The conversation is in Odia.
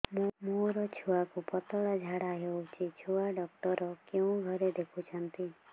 ମୋର ଛୁଆକୁ ପତଳା ଝାଡ଼ା ହେଉଛି ଛୁଆ ଡକ୍ଟର କେଉଁ ଘରେ ଦେଖୁଛନ୍ତି